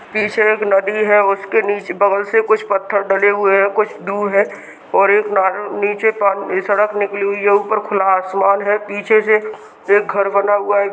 पीछे एक नदी है उसके नीचे बगल से कुछ पत्थर डले हुए है कुछ दूर है और एक ना- नीचे प- एक सड़क निकली हुई है ऊपर एक खुला आसमान है। पीछे से एक घर बना हुआ है।